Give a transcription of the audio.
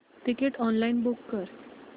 ticket online book कर